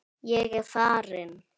Ég er farinn!